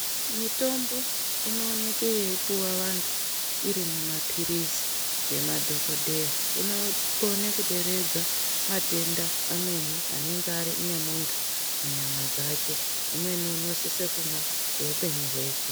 Mitombo inooneke yeipuwa antu iri mumapirizi ngemadhokodheya inokone kuderedza matenda amweni anonga ane muntu munyama dzake. Umweni unosise kumwa kweupenyu hweshe.